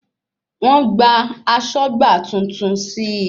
Wọ́n gba asọ́gbà tuntun sí